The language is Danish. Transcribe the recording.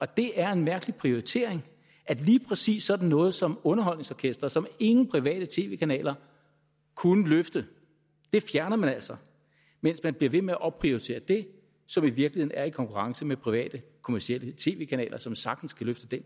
det er en mærkelig prioritering at lige præcis sådan noget som underholdningsorkestret som ingen private tv kanaler kunne løfte fjerner man altså mens man bliver ved med at opprioritere det som i virkeligheden er i konkurrence med private kommercielle tv kanaler som sagtens kan løfte